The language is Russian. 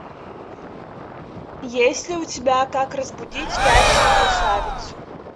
есть ли у тебя как разбудить спящую красавицу